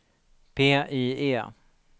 PIE